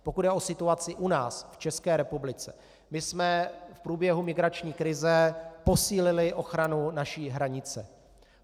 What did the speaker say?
Pokud jde o situaci u nás, v České republice, my jsme v průběhu migrační krize posílili ochranu naší hranice.